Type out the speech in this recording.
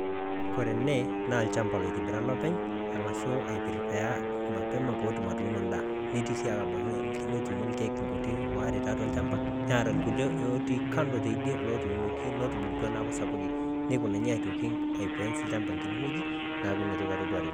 koree ene naa olchamba litobira olopeny' arashu aiprepare petum atunoo endaa netii si abaiki netunoo ilkeek kuti waare tolchamba netaa ilkuliee otii kando tidie lotunoki netubulutua metaa sapukin aifence olchamba neaku natoki atodua tene